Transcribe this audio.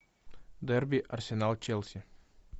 дерби арсенал челси